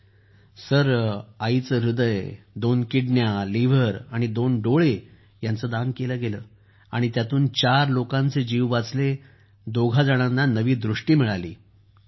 अभिजीत जीः त्यांचं ह्रदय दोन किडनी यकृत आणि दोन नेत्र यांचं दान केलं गेलं आणि चार लोकांचे जीव वाचले तर दोघा जणांना नवी दृष्टी मिळाली